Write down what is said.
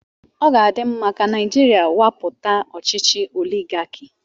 Ọ ga-adị mma ka Naijiria nwapụta ọchịchị oligaki.